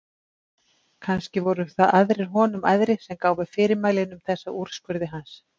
Kannski voru það aðrir honum æðri sem gáfu fyrirmælin um þessa úrskurði hans.